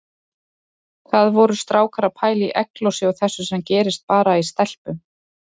Hvað voru strákar að pæla í egglosi og þessu sem gerist bara í stelpum!